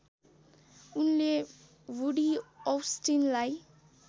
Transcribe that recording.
उनले वुडि औस्टिनलाई